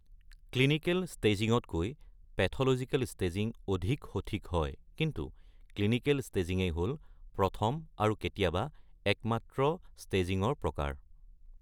Clinical ষ্টেজিংতকৈ pathological staging অধিক সঠিক হয়, কিন্তু ক্লিনিকেল ষ্টেজিঙেই হ'ল প্ৰথম আৰু কেতিয়াবা একমাত্ৰ ষ্টেজিঙৰ প্ৰকাৰ।